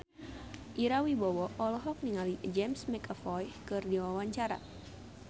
Ira Wibowo olohok ningali James McAvoy keur diwawancara